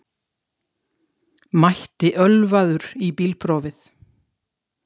Mætti ölvaður í bílprófið